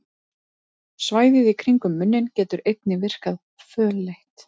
Svæðið í kringum munninn getur einnig virkað fölleitt.